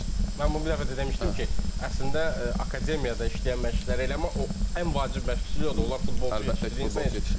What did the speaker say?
Mən bunu bir dəfə də demişdim ki, əslində akademiyada işləyən məşqçilər elə ən vacib məşqçilik odur, onlar futbolçu yetişdirir, insan yetişdirir.